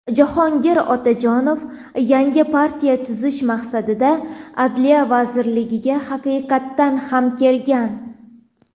Jahongir Otajonov yangi partiya tuzish maqsadida Adliya vazirligiga haqiqatan ham kelgan.